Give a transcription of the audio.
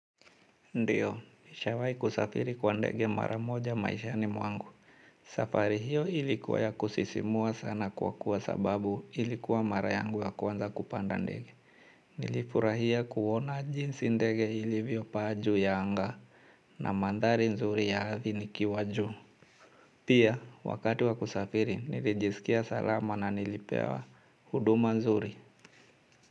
Ndiyo, nishawai kusafiri kwa ndege mara moja maishani mwangu. Safari hiyo ilikuwa ya kusisimua sana kwa kuwa sababu ilikuwa mara yangu ya kwanza kupanda ndege. Nilifurahia kuona jinsi ndege ilivyopaa juu ya anga na mandhari nzuri ya ardhi nikiwa juu. Pia, wakati wakusafiri, nilijisikia salama na nilipewa huduma nzuri.